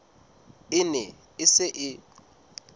e ne e se e